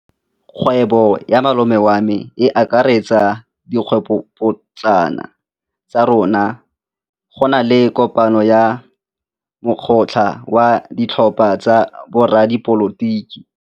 Kgwêbô ya malome wa me e akaretsa dikgwêbôpotlana tsa rona. Go na le kopanô ya mokgatlhô wa ditlhopha tsa boradipolotiki.